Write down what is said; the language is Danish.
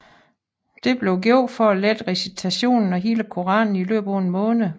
Dette blev gjort for at lette recitationen af hele Koranen i løbet af en måned